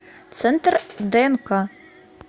центр днк